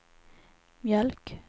mjölk